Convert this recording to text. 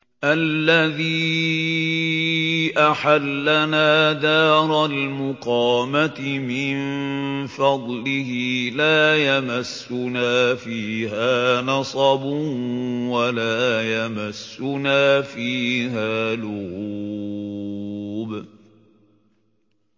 الَّذِي أَحَلَّنَا دَارَ الْمُقَامَةِ مِن فَضْلِهِ لَا يَمَسُّنَا فِيهَا نَصَبٌ وَلَا يَمَسُّنَا فِيهَا لُغُوبٌ